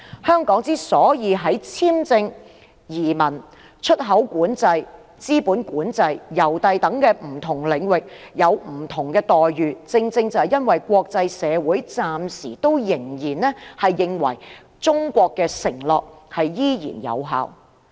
香港在簽證、移民、出口管制、資本管制、郵遞等不同領域享有不同待遇，正因為國際社會暫時仍然認為中國的承諾有效。